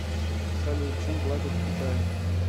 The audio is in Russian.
салют чем платят в китае